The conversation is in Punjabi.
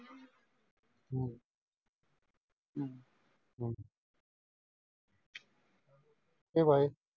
okbye